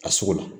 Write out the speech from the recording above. A sogo la